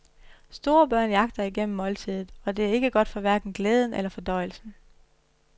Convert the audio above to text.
Store børn jagter igennem måltidet, og det er ikke godt for hverken glæden eller fordøjelsen.